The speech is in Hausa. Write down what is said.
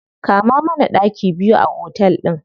Kama mana ɗaki biyu a otel ɗin.